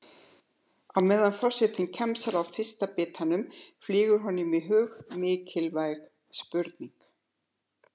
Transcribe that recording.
Á meðan forsetinn kjamsar á fyrsta bitanum flýgur honum í hug mikilvæg spurning.